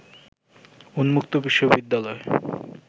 উন্মুক্ত বিশ্ববিদ্যালয়